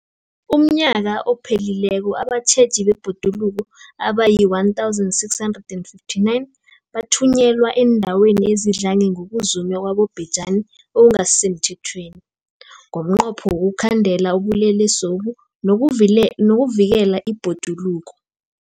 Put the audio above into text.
UmNnyaka ophelileko abatjheji bebhoduluko abayi-1 659 bathunyelwa eendaweni ezidlange ngokuzunywa kwabobhejani okungasi semthethweni ngomnqopho wokuyokukhandela ubulelesobu nokuvikela ibhoduluko.